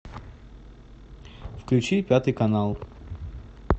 включи пятый канал